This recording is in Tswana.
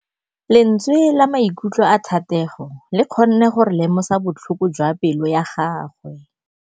Lentswe la maikutlo a Thategô le kgonne gore re lemosa botlhoko jwa pelô ya gagwe.